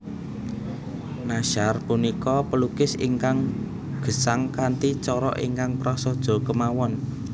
Nashar punika pelukis ingkang gesang kanthi cara ingkang prasaja kemawon